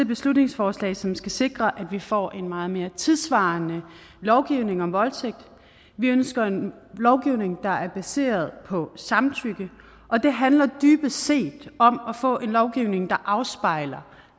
beslutningsforslag som skal sikre at vi får en meget mere tidssvarende lovgivning om voldtægt vi ønsker en lovgivning der er baseret på samtykke og det handler dybest set om at få en lovgivning der afspejler